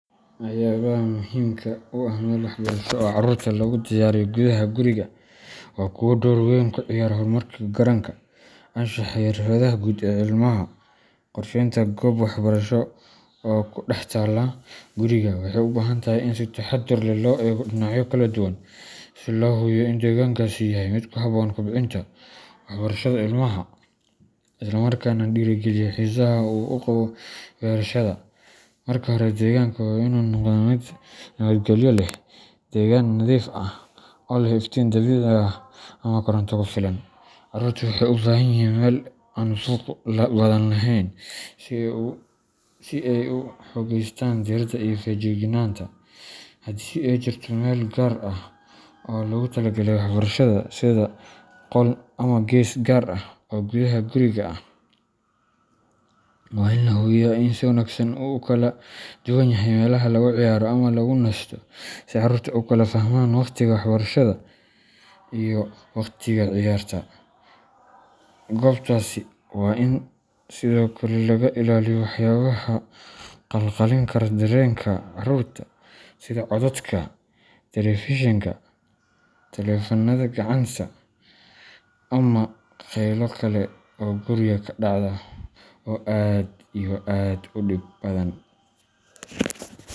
Waxyaabaha muhiimka u ah meel waxbarasho oo carruurta loogu diyaariyo gudaha guriga waa kuwo door weyn ka ciyaara horumarka garaadka, anshaxa, iyo xirfadaha guud ee ilmaha. Qorsheynta goob waxbarasho oo ku dhex taalla guriga waxay u baahan tahay in si taxadar leh loo eego dhinacyo kala duwan si loo hubiyo in deegaankaasi yahay mid ku habboon kobcinta waxbarashada ilmaha, isla markaana dhiirrigeliya xiisaha uu u qabo barashada. Marka hore, deegaanka waa in uu noqdaa mid nabadgelyo leh, degan, nadiif ah, oo leh iftiin dabiici ah ama koronto ku filan. Carruurtu waxay u baahan yihiin meel aan buuq badan lahayn si ay u xoogeystaan diiradda iyo feejignaanta. Haddii ay jirto meel gaar ah oo loogu talagalay waxbarashada, sida qol ama gees gaar ah oo gudaha guriga ah, waa in la hubiyaa in ay si wanaagsan u kala duwan yihiin meelaha lagu ciyaaro ama lagu nasto, si carruurtu u kala fahmaan waqtiga waxbarashada iyo waqtiga ciyaarta. Goobtaasi waa in sidoo kale laga ilaaliyo waxyaabaha khalkhalin kara dareenka carruurta sida codadka telefishinka, taleefannada gacanta ama qaylo kale oo guriga ka dhacda, oo aad iyo aad u dib badan.